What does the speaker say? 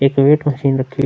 एक weight machine रखी --